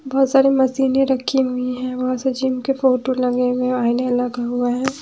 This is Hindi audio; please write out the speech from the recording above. बहोत सारे मशीने रखी हुई है वहां सचिन के फोटो लगे हुए है आईने हुआ है।